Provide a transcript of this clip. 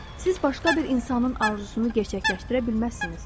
Siz başqa bir insanın arzusunu gerçəkləşdirə bilməzsiniz.